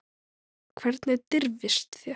Hvernig dirfist þér.